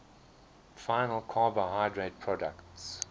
final carbohydrate products